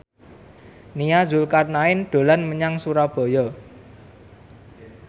Nia Zulkarnaen dolan menyang Surabaya